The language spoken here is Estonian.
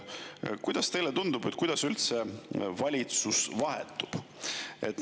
Kuidas teile tundub, kuidas üldse valitsus vahetub?